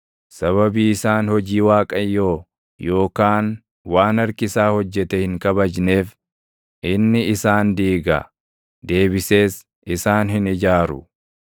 Sababii isaan hojii Waaqayyoo, yookaan waan harki isaa hojjete hin kabajneef inni isaan diiga; deebisees isaan hin ijaaru.